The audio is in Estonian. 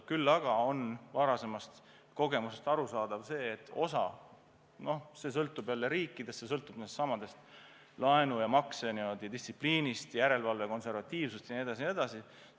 Küll aga on varasematest kogemustest selge, et – no kõik oleneb jälle konkreetsestest riikidest – see sõltub laenu- ja maksedistsipliinist, järelevalve konservatiivsusest jne, jne.